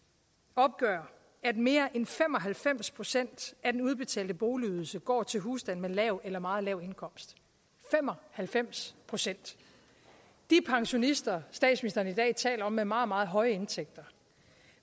opgør at mere end fem og halvfems procent af den udbetalte boligydelse går til husstande med lav eller meget lav indkomst fem og halvfems procent de pensionister statsministeren i dag taler om er meget meget høje indtægter